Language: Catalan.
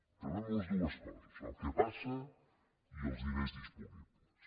sabem totes dues coses el que passa i els diners disponibles